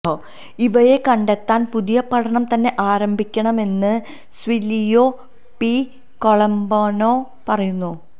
ഇവയെ കണ്ടെത്താന് പുതിയ പഠനം തന്നെ ആരംഭിക്കണമെന്ന് സില്വിയോ പി കോളമ്പാനോ പറയുന്നു